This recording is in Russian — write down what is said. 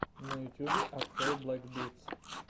на ютюбе открой блэк битс